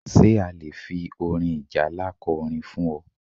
Ṣé a lè fi orin ìjálá ko orin fún ọ?